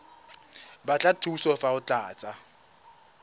batla thuso fa o tlatsa